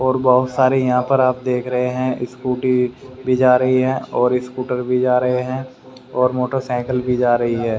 और बहुत सारे यहां पर आप देख रहे हैं स्कूटी भी जा रही है और स्कूटर भी जा रहे हैं और मोटरसाइकिल भी जा रही है।